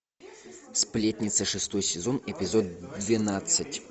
сплетница шестой сезон эпизод двенадцать